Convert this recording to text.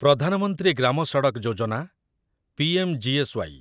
ପ୍ରଧାନ ମନ୍ତ୍ରୀ ଗ୍ରାମ ସଡକ୍ ଯୋଜନା ପିଏମ୍‌ଜିଏସ୍‌ୱାଇ